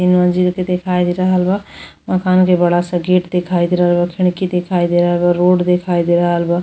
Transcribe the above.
तीन मंजिल के दिखाई दे रहल बा। मकान के बड़ा सा गेट दिखाई दे रहल बा। खिड़की दिखाई दे रहल बा। रोड दिखाई दे रहल बा।